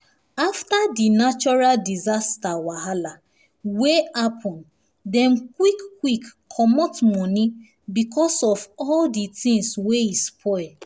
after di natural disaster wahala wey wey happen dem quick quick comot money because of all di things wey e spoil